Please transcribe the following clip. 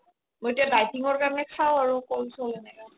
মই এতিয়া dieting কাৰণে খাও আৰু ক'ল চ'ল এনেকা